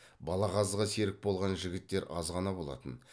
балағазға серік болған жігіттер аз ғана болатын